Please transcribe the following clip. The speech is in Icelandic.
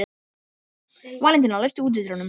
Valentína, læstu útidyrunum.